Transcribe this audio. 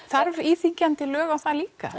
þarf íþyngjandi lög á það líka